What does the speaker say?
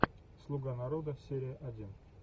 слуга народа серия один